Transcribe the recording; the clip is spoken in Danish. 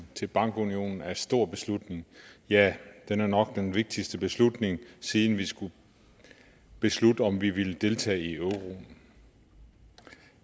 til bankunionen er en stor beslutning ja den er nok den vigtigste beslutning siden vi skulle beslutte om vi ville deltage i euroen